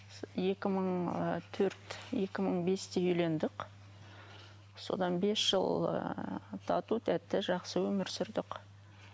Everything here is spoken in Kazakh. екі мың ы төрт екі мың бесте үйлендік содан бес жыл ы тату тәтті жақсы өмір сүрдік